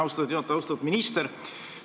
Austatud minister!